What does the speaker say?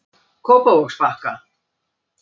Kópavogsbakka